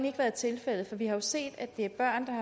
ikke været tilfældet for vi har jo set at det er børn der